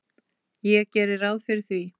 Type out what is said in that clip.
Ég geri ráð fyrir því.